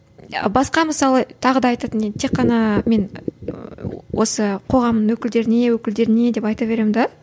басқа мысалы тағы да айтатын не тек қана мен осы қоғамның өкілдеріне өкілдеріне деп айта беремін де